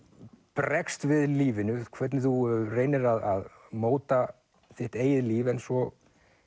bregst við lífinu hvernig þú reynir að móta þitt eigið líf en svo